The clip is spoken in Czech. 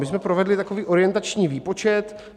My jsme provedli takový orientační výpočet.